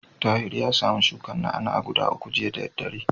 Tahir ya samu shukar na'a-na'a guda uku jiya da daddare.